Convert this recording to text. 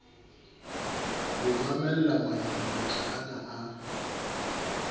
ho mamella manyampetla ana a